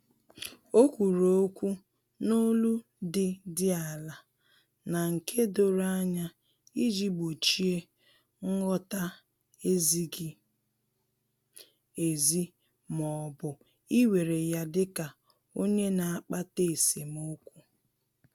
Ọ kwuru okwu n’olu dị dị ala na nke doro anya iji gbochie nghọta-ezighi ezi ma ọ bụ iwere ya dika onye na-akpata esemokwu